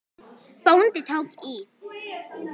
Bóndi tók í.